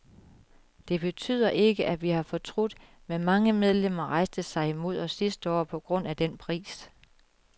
Det betyder ikke, at vi har fortrudt, men mange medlemmer rejste sig imod os sidste år på grund af den pris.